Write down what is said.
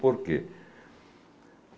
Por quê?